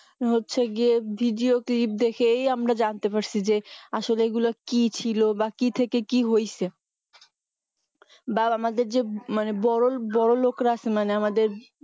হচ্ছে গিয়ে video clip দেখেই আমরা জানতে পারছি যে আসলে এইগুলো কি ছিল বা কি থেকে কি হইছে বা আমাদের যে ~ বড়লোকেরা আছে মানে আমাদের